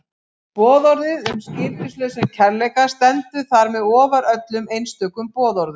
Boðorðið um skilyrðislausan kærleika stendur þar með ofar öllum einstökum boðorðum.